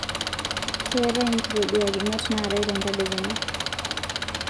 keetae nkitoduakinot naatae te ntadekenya